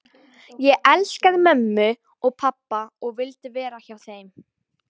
Ég elskaði mömmu og pabba og vildi vera hjá þeim.